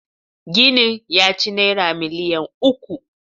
Ginin ya ci Naira miliyan uku.